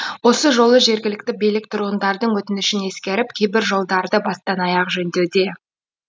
осы жолы жергілікті билік тұрғындардың өтінішін ескеріп кейбір жолдарды бастан аяқ жөндеуде